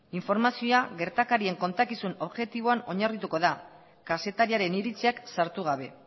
informazioa gertakarien kontakizun objektiboan oinarrituko da kazetariaren iritziak sartu gabe